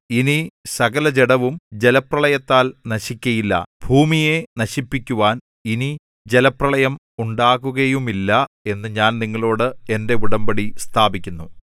ഇനി സകലജഡവും ജലപ്രളയത്താൽ നശിക്കയില്ല ഭൂമിയെ നശിപ്പിക്കുവാൻ ഇനി ജലപ്രളയം ഉണ്ടാകുകയുമില്ല എന്നു ഞാൻ നിങ്ങളോടു എന്റെ ഉടമ്പടി സ്ഥാപിക്കുന്നു